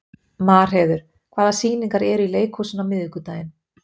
Marheiður, hvaða sýningar eru í leikhúsinu á miðvikudaginn?